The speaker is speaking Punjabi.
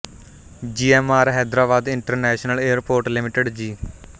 ਜੀ M R Hyderabad international airport limited ਜੀ